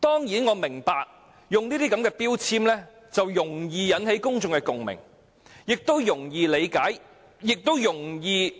我明白這些標籤容易引起公眾共鳴，挑起憎恨，因為"假"字代表欺騙。